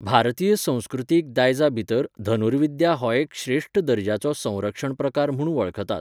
भारतीय संस्कृतीक दायजा भितर धनुर्विद्या हो एक श्रेश्ठ दर्ज्याचो संरक्षण प्रकार म्हूण वळखतात.